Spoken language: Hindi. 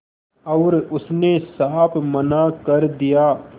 और उसने साफ मना कर दिया